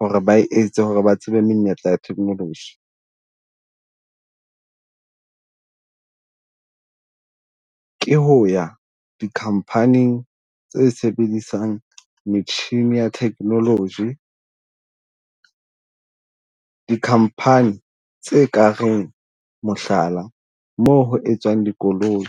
ho re ba e etse ho re ba tsebe menyetla ya technology, ke ho ya di company-ing tse sebedisang metjhini ya technology. Di-company tse ka reng mohlala, moo ho etswang dikoloi.